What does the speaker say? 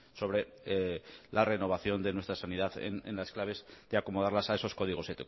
sobre la renovación de nuestra sanidad en las claves de acomodarlas a esos códigos